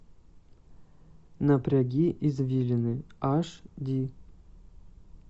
напряги извилины аш ди